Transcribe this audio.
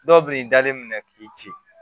Dɔw bɛ n dalen minɛ k'i ci